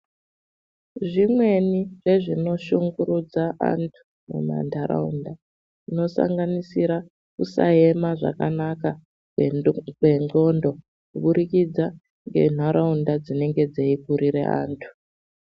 Zvimweni zvezvinoshungurudza anthu mumantharaunda, zvinosanganisira kusaema zvakanaka kwendo kwendxondo, kubudiridza ngenharaunda dzinenge dzeikurire anthu.